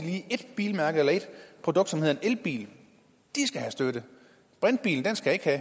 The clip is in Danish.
lige ét bilmærke eller ét produkt som hedder en elbil de skal have støtte brintbilen skal ikke have